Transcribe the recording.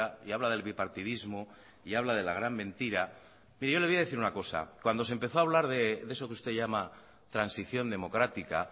y habla del bipartidismo y habla de la gran mentira pero yo le voy a decir una cosa cuando se empezó a hablar de eso que usted llama transición democrática